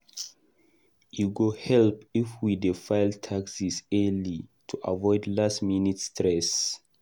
E go help if we dey file taxes early to avoid last-minute stress.